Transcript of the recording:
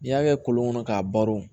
N'i y'a kɛ kolon kɔnɔ k'a baro